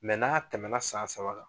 n'a tɛmɛ na san saba kan